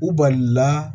U balila